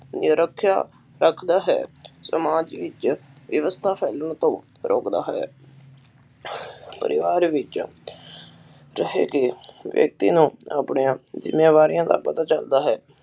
ਨਿਰਖਿਆ ਤਕ ਦਾ ਹੈ ਸਮਾਜ ਵਿਚ ਵਿਵਸਥਾ ਫੈਲਣ ਤੋਂ ਰੋਕਦਾ ਹੈ ਪਰਿਵਾਰ ਵਿਚ ਰਹਿਕੇ ਵਿਅਕਤੀ ਨੂੰ ਆਪਣੀਆ ਜਿੰਮੇਵਾਰੀਆਂ ਦਾ ਪਤਾ ਚਲਦਾ ਹੈ